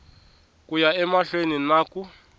ku ya emahlweni na ku